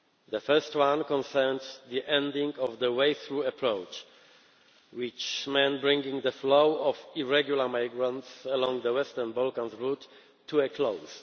The first one concerned the ending of the wave through' approach, which meant bringing the flow of irregular migrants along the Western Balkans route to a close.